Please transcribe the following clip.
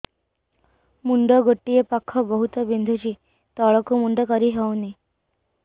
ମୁଣ୍ଡ ଗୋଟିଏ ପାଖ ବହୁତୁ ବିନ୍ଧୁଛି ତଳକୁ ମୁଣ୍ଡ କରି ହଉନି